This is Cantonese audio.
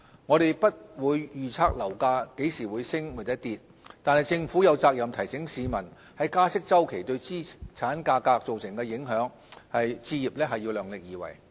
我們不會預測樓價何時升跌，但政府有責任提醒市民在加息周期對資產價格造成的影響，置業要量力而為。